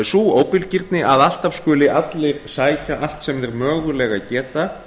sú óbilgirni að alltaf skuli allir sækja allt sem þeir mögulega geta